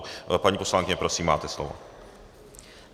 Paní poslankyně, prosím, máte slovo.